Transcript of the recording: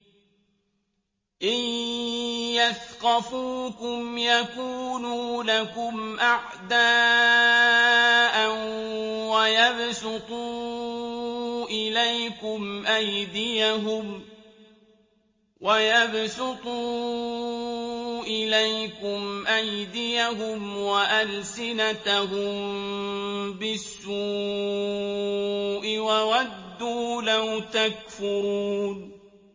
إِن يَثْقَفُوكُمْ يَكُونُوا لَكُمْ أَعْدَاءً وَيَبْسُطُوا إِلَيْكُمْ أَيْدِيَهُمْ وَأَلْسِنَتَهُم بِالسُّوءِ وَوَدُّوا لَوْ تَكْفُرُونَ